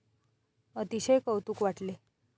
अतिशय कौतूक वाटले.